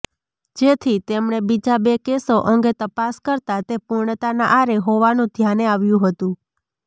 જેથી તેમણે બીજા બે કેસો અંગે તપાસ કરતા તે પૂર્ણતાના આરે હોવાનું ધ્યાને આવ્યું હતું